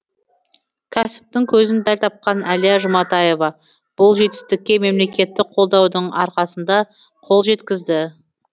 кәсіптің көзін дәл тапқан әлия жұматаева бұл жетістікке мемлекеттік қолдаудың арқасында қол жеткізді